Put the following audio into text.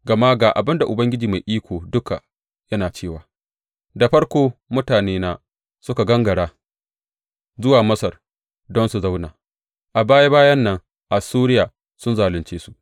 Gama ga abin da Ubangiji Mai Iko Duka yana cewa, Da farko mutanena suka gangara zuwa Masar don su zauna; a baya bayan nan, Assuriya sun zalunce su.